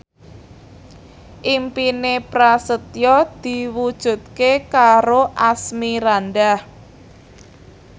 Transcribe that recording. impine Prasetyo diwujudke karo Asmirandah